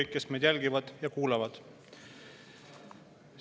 Ja kõik meie jälgijad ja kuulajad!